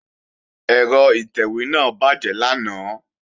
Ẹ̀rọ ìtẹ̀wé náà bàjẹ́ lánàá